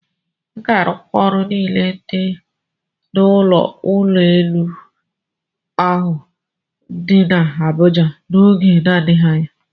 A ga-arụkwa ọkụ niile dị n'ụlọ ụgbọelu ahụ dị n'Abụja n'oge na-adịghị anya.